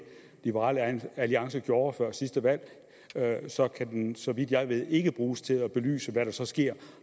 liberal alliance gjorde før sidste valg så kan den så vidt jeg ved ikke bruges til at belyse hvad der så sker